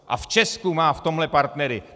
A v Česku má v tomhle partnery.